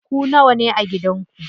Ku nawane a gidan ku?